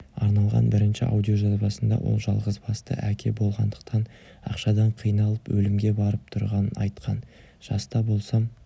арналған бірінші аудиожазбасында ол жалғызбасты әке болғандықтан ақшадан қиналып өлімге барып тұрғанын айтқан жаста болсам